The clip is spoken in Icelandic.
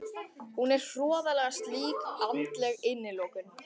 Hún er hroðaleg slík andleg innilokun.